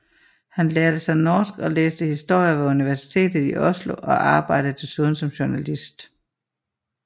Han lærte sig norsk og læste historie ved Universitetet i Oslo og arbejdede desuden som journalist